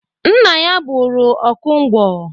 Nna ya bụru ọkụ nkwọ.